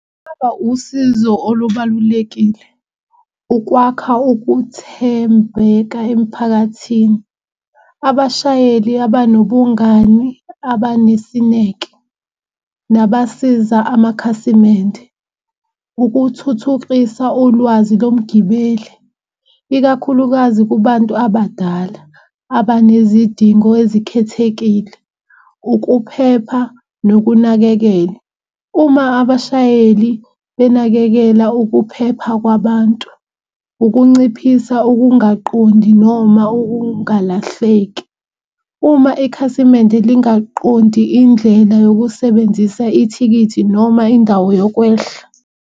Kungaba usizo olubalulekile ukwakha ukuthembeka emphakathini. Abashayeli abanobungani abanesineke nabasiza amakhasimende. Ukuthuthukisa ulwazi lomgibeli ikakhulukazi kubantu abadala abanezidingo ezikhethekile. Ukuphepha nokunakekela, uma abashayeli benakekela ukuphepha kwabantu ukunciphisa ukungaqondi noma ukungalahleki uma ikhasimende lingawaqondi indlela yokusebenzisa ithikithi noma indawo yokwehla.